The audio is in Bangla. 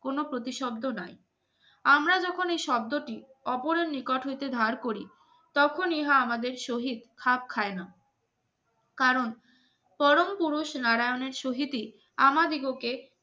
কোন প্রতিশব্দ নাই আমরা যখন এই শব্দটি অপরের নিকট হতে ধার করি তখন ইহা আমাদের শহীদ হাফ খায় না কারণ পরম পুরুষ নারায়নের শহীদের আমাদিগকে